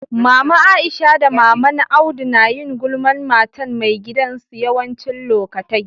Mama Aisha da mama'n Audu na yin gulman matan mai gidan su yawanci lokatai.